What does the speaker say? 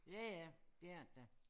Ja ja det er det da